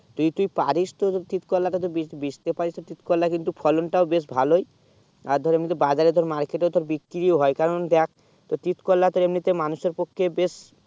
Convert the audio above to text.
তো তুই পারি তো তিত করলা তো বীজ ভিজতে প্যারিস তিত করলা তা ফলন টাও বেশ ভালো ই আর ধর বাজারে তোর market এ তোর বিক্রি হয়ে কারণ দেখ তোর তিত করলা তে এমনি মানুষে পক্ষে বেশ